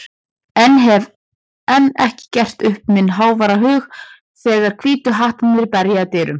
en hef enn ekki gert upp minn háværa hug þegar Hvítu hattarnir berja að dyrum.